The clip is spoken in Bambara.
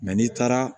n'i taara